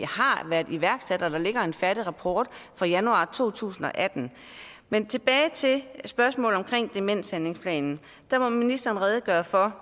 har været iværksat altså når der ligger en færdig rapport fra januar to tusind og atten men tilbage til spørgsmålet om demenshandlingsplanen der må ministeren redegøre for